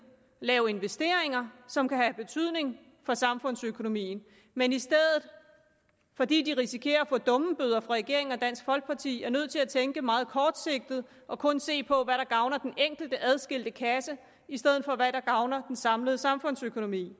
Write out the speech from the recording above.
lave investeringer som kan have betydning for samfundsøkonomien men i stedet fordi de risikerer at få dummebøder af regeringen og dansk folkeparti er nødt til at tænke meget kortsigtet og kun se på hvad der gavner den enkelte adskilte kasse i stedet for hvad der gavner den samlede samfundsøkonomi